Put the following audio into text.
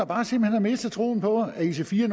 bare har mistet troen på at ic4